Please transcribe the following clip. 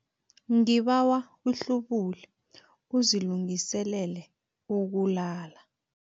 Ngibawa uhlubule uzilungiselele ukulala.